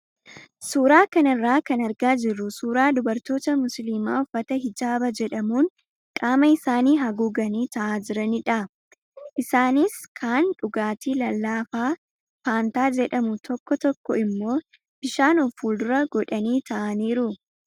Suuraa kanarraa kan argaa jirru suuraa dubartoota musliimaa uffata hijaaba jedhamuun qaama isaanii haguuganii taa'aa jiranidha. Isaanis kaan dhugaatii lallaafaa faantaa jedhamu tokko tokko immoo bishaan of fuuldura godhanii taa'aniiru.